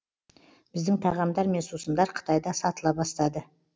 біздің тағамдар мен сусындар қытайда сатыла бастады